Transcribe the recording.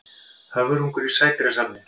Höfrungur í sædýrasafni.